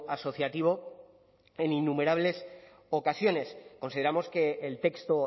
asociativo en innumerables ocasiones consideramos que el texto